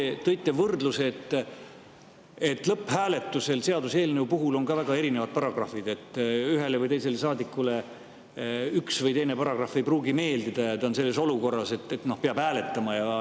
Te tõite võrdluse, et seaduseelnõu lõpphääletusel on vahel väga erinevad paragrahvid, et ühele või teisele saadikule üks või teine paragrahv ei pruugi meeldida, aga ta on olukorras, kus ta peab hääletama.